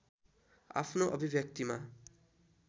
आफ्नो अभिव्यक्तिमा